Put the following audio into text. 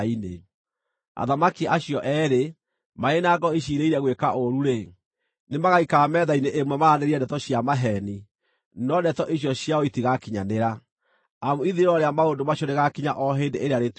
Athamaki acio eerĩ, marĩ na ngoro iciirĩire gwĩka ũũru-rĩ, nĩmagaikara metha-inĩ ĩmwe maaranĩrie ndeto cia maheeni, no ndeto icio ciao itigakinyanĩra, amu ithirĩro rĩa maũndũ macio rĩgaakinya o hĩndĩ ĩrĩa rĩtuĩtwo.